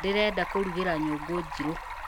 Ndĩrenda kũrugĩra nyũngũnjirũ